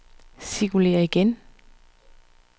cirkulér igen